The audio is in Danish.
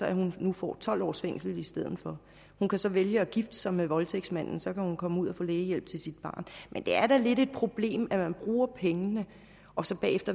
at hun nu får tolv års fængsel i stedet for hun kan så vælge at gifte sig med voldtægtsmanden så kan hun komme ud og få lægehjælp til sit barn det er da lidt et problem at man bruger pengene og så